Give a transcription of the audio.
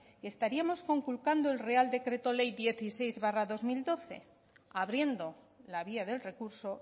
que estaríamos conculcando el real decreto ley dieciséis barra dos mil doce abriendo la vía del recurso